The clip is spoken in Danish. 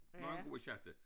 Mange gode sjatter